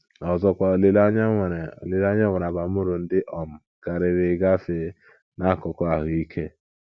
Ọzọkwa, olileanya nwere, olileanya nwere abamuru ndị um karịrị gafee n'akụkụ ahụ́ ike.